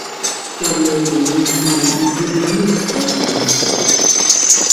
Structured learning mean sey you go dey move step by step.